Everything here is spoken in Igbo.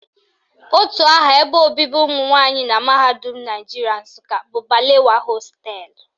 Otu aha ebe obibi ụmụnwanyị na mahadum Naijiria Nsụka bụ Balewa hostelụ